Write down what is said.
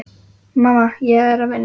Mamma, ég er að vinna.